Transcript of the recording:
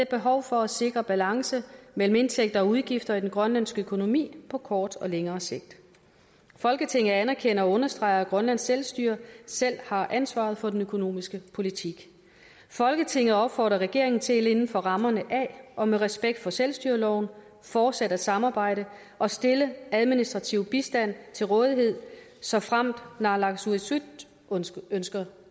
behov for at sikre balance mellem indtægter og udgifter i den grønlandske økonomi på kort og længere sigt folketinget anerkender og understreger at grønlands selvstyre selv har ansvaret for den økonomiske politik folketinget opfordrer regeringen til inden for rammerne af og med respekt for selvstyreloven fortsat at samarbejde og stille administrativ bistand til rådighed såfremt naalakkersuisut ønsker